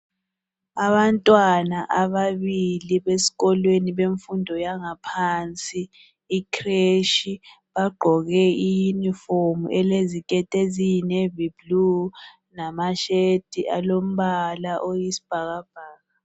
Abantwana ababili beskolweni bemfundo yangaphansi i"crech" bagqoke i"uniform " eleziketi eziyi"navyblue"lama"shirt" alombala oyisibhakabhaka.